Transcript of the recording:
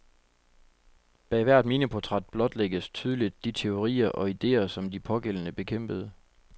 Bag hvert miniportræt blotlægges tydeligt de teorier og idéer, som de pågældende bekæmpede.